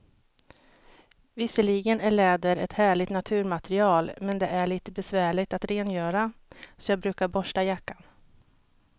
Visserligen är läder ett härligt naturmaterial, men det är lite besvärligt att rengöra, så jag brukar borsta jackan.